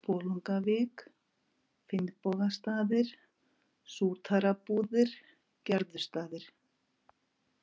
Bolungavík, Finnbogastaðir, Sútarabúðir, Gerðustaðir